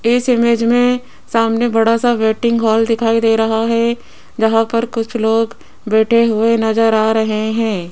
इस इमेज मे सामने बड़ा सा वेटिंग हॉल दिखाई दे रहा है जहां पर कुछ लोग बैठे हुए नज़र आ रहे है।